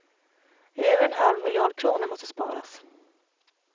Över en halv miljard kronor måste sparas.